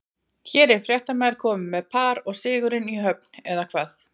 Hér er fréttamaður kominn með par og sigurinn í höfn, eða hvað?